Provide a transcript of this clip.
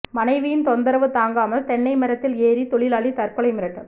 மனைவியின் தொந்தரவு தாங்காமல் தென்னை மரத்தில் ஏறி தொழிலாளி தற்கொலை மிரட்டல்